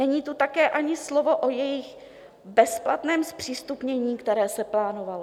Není tu také ani slovo o jejich bezplatném zpřístupnění, které se plánovalo.